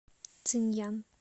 цинъян